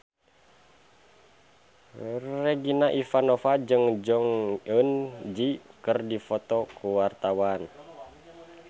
Regina Ivanova jeung Jong Eun Ji keur dipoto ku wartawan